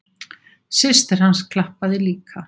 Systir hans klappaði líka.